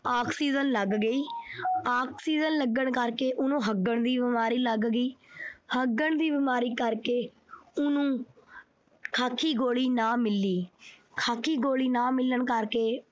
oxygen ਲੱਗ ਗਈ। oxygen ਲੱਗਣ ਕਰਕੇ ਉਹਨੂੰ ਹੱਗਣ ਦੀ ਬੀਮਾਰੀ ਲੱਗ ਗਈ। ਹੱਗਣ ਦੀ ਬੀਮਾਰੀ ਕਰਕੇ ਉਹਨੂੰ ਖਾਕੀ ਗੋਲੀ ਨਾ ਮਿਲੀ। ਖਾਕੀ ਗੋਲੀ ਨਾ ਮਿਲਣ ਕਰਕੇ